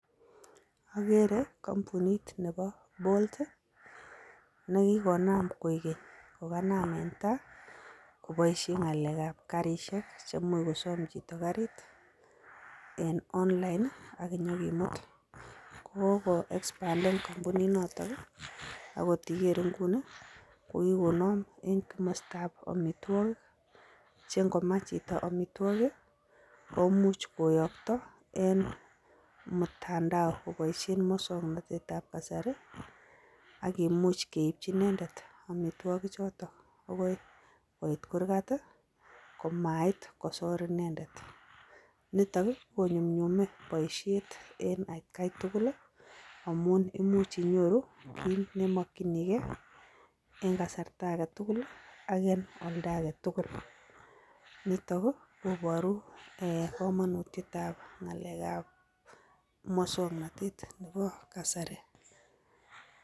Akere kampunit ne bo bolt neki konam koi keny kokanam en tai koboisien ng'alekab karisiek chemuch kosom chito karit en online ak inyokimut ko koko expanden kampuninotok akot ikere inguni kokikonam en komosatab amitwogik chengomach chito amitwogik komuch koyokto en mutandao koboisien muswoknotet akimuch keipchi inendet amitwogichoton akoi koit kurgat komait kosor inendet nitok ii konyumnyume boisiet en atkai tugul amun imuch inyoru kit nemokyinikee en kasarta agetugul ii ak en olda agetugul niton ii koboru kamanutietab ng'alekab muswoknotet nebo kasari.